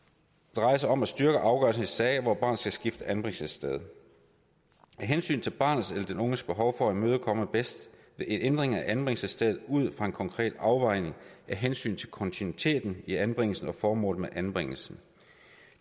drejer sig om at styrke afgørelsen i sager hvor barnet skal skifte anbringelsessted hensynet til barnets eller den unges behov for støtte imødekommes bedst ved en ændring af anbringelsesstedet ud fra en konkret afvejning af hensynet til kontinuiteten i anbringelsen og formålet med anbringelsen